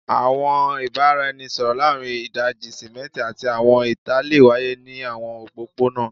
Awọn ibaraẹnisọrọ laarin idaji-simẹnti ati awọn ita le waye ni awọn opopona